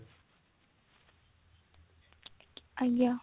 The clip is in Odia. ଆଜ୍ଞା